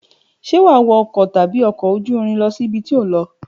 Ṣe wà wọ ọkọ tàbí ọkọ òjúrín lọsi ìbítọ lọ?